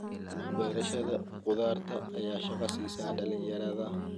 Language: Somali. Beerashada khudaarta ayaa shaqo siisa dhalinyarada.